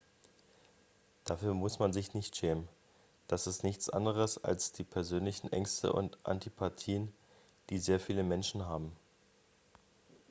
dafür muss man sich nicht schämen das ist nichts anderes als die persönlichen ängste und antipathien die sehr viele menschen haben